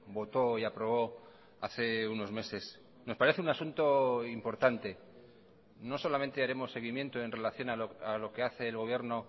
votó y aprobó hace unos meses nos parece un asunto importante no solamente haremos seguimiento en relación a lo que hace el gobierno